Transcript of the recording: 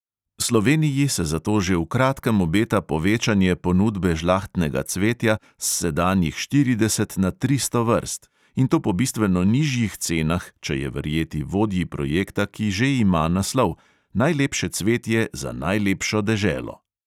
Sloveniji se zato že v kratkem obeta povečanje ponudbe žlahtnega cvetja s sedanjih štirideset na tristo vrst, in to po bistveno nižjih cenah, če je verjeti vodji projekta, ki že ima naslov: najlepše cvetje za najlepšo deželo.